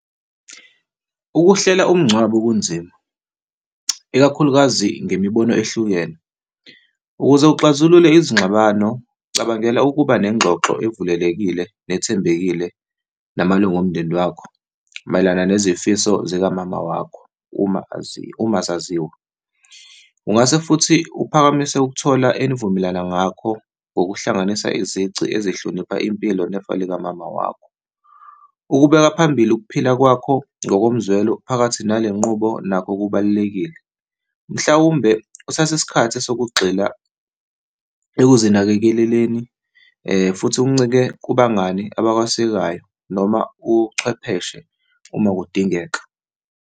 Ukuhlela umngcwabo kunzima, ikakhulukazi ngemibono ehlukene. Ukuze uxazulule izingxabano, cabangela ukuba nengxoxo evulelekile nethembekile namalunga omndeni wakho mayelana nezifiso zikamama wakho, uma , uma zaziwa. Ungase futhi uphakamise ukuthola enivumelana ngakho ngokuhlanganisa izici ezihlonipha impilo nefa likamama wakho. Ukubeka phambili ukuphila kwakho ngokomzwelo phakathi nale nqubo nakho kubalulekile. Mhlawumbe kuthatha isikhathi sokugxila ekuzinakekeleni, futhi uncike kubangani abakwesekayo noma uchwepheshe uma kudingeka.